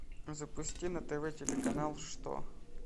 запусти на тв телеканал что